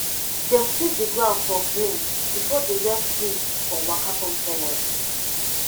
dem sweep the ground clean before the rain priest waka come forward